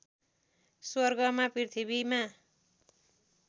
स्वर्गमा पृथ्वीमा